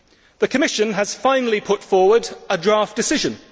The Commission has finally put forward a draft decision.